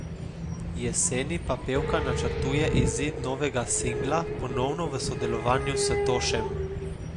Jeseni pa pevka načrtuje izid novega singla, ponovno v sodelovanju s Tošem.